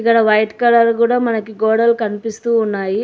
ఇక్కడ white colour కూడా మనకి గోడలు కనిపిస్తూ ఉన్నాయి.